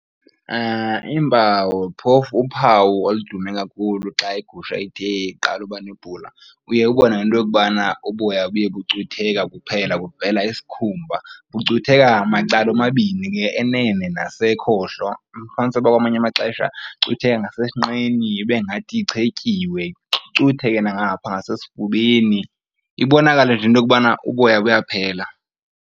Iimpawu phofu uphawu oludume kakhulu xa igusha ide iqala ubanebhula, uye ubone ngento yokubana uboya buye bucutheka buphela kuvela isikhumba. Bucutheka macala omabini ke enene nasekhohlo, ufumanise uba kwamanye amaxesha icutheka nasesinqeni ibe ngathi ichetyiwe, icutheke nangapha ngasesifubeni, ibonakale nje into yokubana uboya buyaphela.